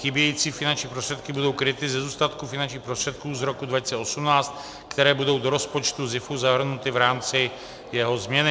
Chybějící finanční prostředky budou kryty ze zůstatku finančních prostředků z roku 2018, které budou do rozpočtu SZIFu zahrnuty v rámci jeho změny.